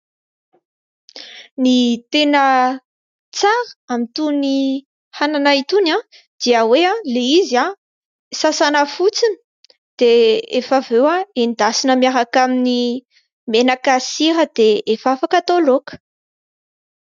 Ny tena tsara amin'itony anana itony, dia hoe ilay izy sasana fotsiny dia rehefa avy eo endasina miaraka amin'ny menaka sy sira dia efa afaka atao laoka.